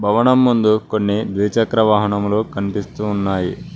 భవనం ముందు కొన్ని ద్విచక్ర వాహనములు కనిపిస్తూ ఉన్నాయి.